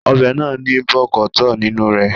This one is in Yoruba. Ọbẹ̀ náà ní bọ̀kọ̀tọ́ọ̀ nínú re